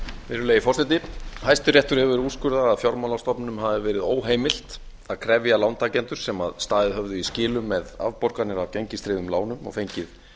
virðulegi forseti hæstiréttur hefur úrskurðar að fjármálastofnunum hafi verið óheimilt að krefja lántakendur sem staðið höfðu í skilum með afborganir af gengistryggðum lánum og fengið